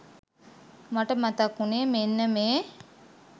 මට මතක් වුනේ මෙන්න මේ